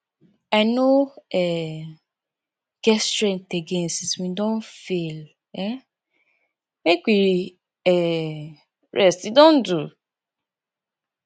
i no um get strength again since we don fail um make we um rest e don do